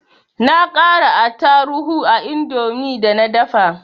Na ƙara attaruhu a indomin da na dafa